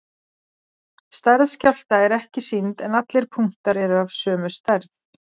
Stærð skjálfta er ekki sýnd en allir punktar eru af sömu stærð.